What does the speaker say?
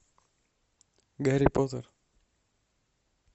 гарри поттер